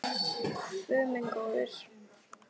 Guð minn góður